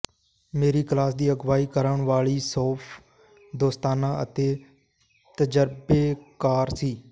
ਮੇਰੀ ਕਲਾਸ ਦੀ ਅਗਵਾਈ ਕਰਨ ਵਾਲੀ ਸ਼ੈੱਫ ਦੋਸਤਾਨਾ ਅਤੇ ਤਜਰਬੇਕਾਰ ਸੀ